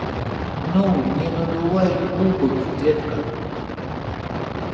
ну не надувай губок детка